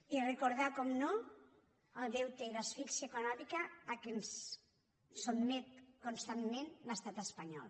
i recordar naturalment el deute i l’asfíxia econòmica a què ens sotmet constantment l’estat espanyol